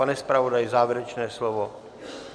Pane zpravodaji, závěrečné slovo?